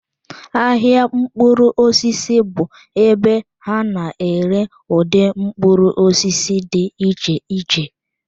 Ahịa mkpụrụ osisi bụ ebe ha na-ere ụdị mkpụrụ osisi dị iche iche.